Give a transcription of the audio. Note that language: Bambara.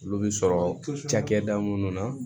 Olu bɛ sɔrɔ cakɛda minnu na